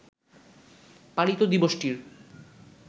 পালিত দিবসটির